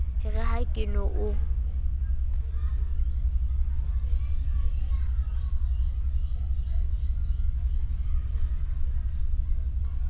re ha ke no o